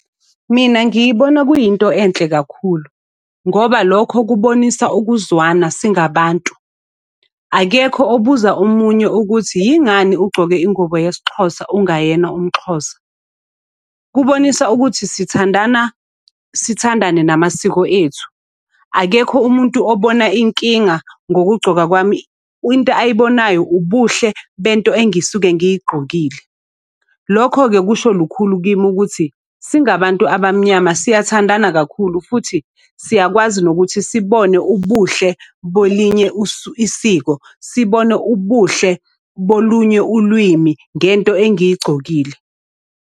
Mina ngiyibona kuyinto enhle kakhulu, ngoba lokho kubonisa ukuzwana singabantu. Akekho obuza omunye ukuthi yingani ugcoke ingubo yesiXhosa ungayena umXhosa. Kubonisa ukuthi sithandana sithandane namasiko ethu. Akekho umuntu obona inkinga ngokugcoka kwami, into ayibonayo ubuhle bento engisuke ngigqokile. Lokho-ke kusho lukhulu kimi ukuthi, singabantu abamnyama siyathandana kakhulu futhi, siyakwazi nokuthi sibone ubuhle bolinye isiko. Sibone ubuhle bolunye ulwimi ngento engiyigcokile.